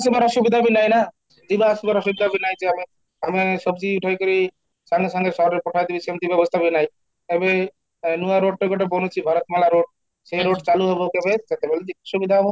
ଜମାରୁ ସୁବିଧା ବି ନାହିଁ ନା, ଯିବା ଆସିବାର ସୁବିଧା ବି ନାହିଁ ଯେ ଆମେ ଉଠେଇ କିରି ସାଙ୍ଗେ ସାଙ୍ଗେ ସହରରେ ପଠାଇଦେବି ସେମିତ ବ୍ୟବସ୍ତା ବି ନାହିଁ, ଏବେ ନୂଆ rode ଟା ଗୋଟେ ଭାରତ ମାଲା rode ସେଇ road ଚାଲୁ ହେବ କେବେ ସେତେବେଳେ ସୁବିଧା ହେବ